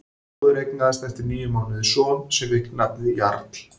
Móðir eignaðist eftir níu mánuði son sem fékk nafnið Jarl.